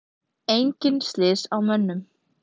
Engin slys á mönnum.